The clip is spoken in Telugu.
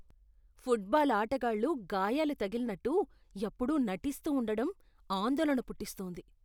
ఫుట్బాల్ ఆటగాళ్లు గాయాలు తగిలినట్టు ఎప్పుడూ నటిస్తూ ఉండడం ఆందోళన పుట్టిస్తోంది.